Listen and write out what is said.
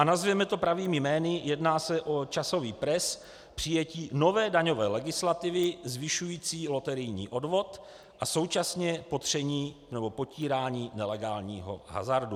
A nazvěme to pravými jmény - jedná se o časový pres přijetí nové daňové legislativy zvyšující loterijní odvod a současně popření nebo popírání nelegálního hazardu.